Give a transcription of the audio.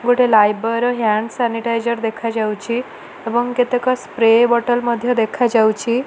ଗୋଟେ ଲାଇଫବୟେ ର hand sanitizer ଦେଖାଯାଉଚି ଏବଂ କେତେକ ସ୍ପ୍ରେ ବଟଲ ମଧ୍ୟ ଦେଖାଯାଉଚି।